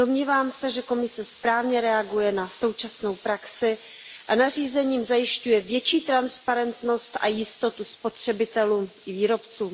Domnívám se, že Komise správně reaguje na současnou praxi a nařízením zajišťuje větší transparentnost a jistotu spotřebitelům i výrobcům.